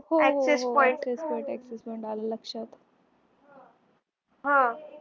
access point .